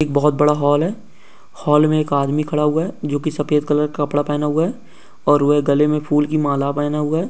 एक बहुत बड़ा हॉल है। हॉल में एक आदमी खड़ा हुआ है जो कि सफेद कलर का कपड़ा पहना हुआ है और वह गले में फूल की माला पहना हुआ है।